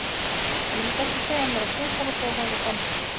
Ég lét ekki segja mér það tvisvar og fór þangað samstundis.